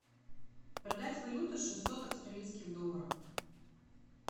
продать валюту шестьсот австралийских долларов